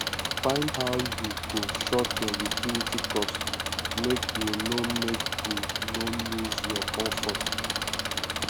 find how yu go short yur utility cost mek yu no mek yu no lose yur comfort